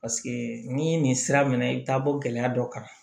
Paseke ni nin sira mɛna i bɛ taa bɔ gɛlɛya dɔ kan